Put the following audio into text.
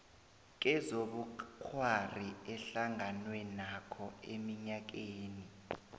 kezobukghwari ehlanganwenakho eminyakeni